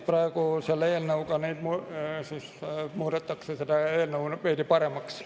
Selle eelnõuga muudetakse veidi paremaks.